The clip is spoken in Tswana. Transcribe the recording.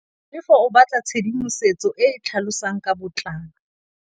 Tlhalefô o batla tshedimosetsô e e tlhalosang ka botlalô.